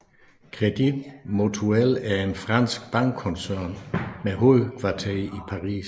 Crédit Mutuel er en fransk bankkoncern med hovedkvarter i Paris